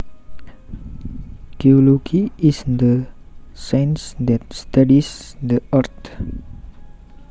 Geology is the science that studies the earth